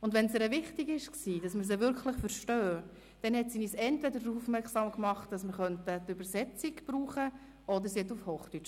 Und wenn es ihr wichtig war, dass wir sie wirklich verstanden, machte sie uns entweder darauf aufmerksam, dass wir die Übersetzung benutzen könnten, oder wechselte auf Hochdeutsch.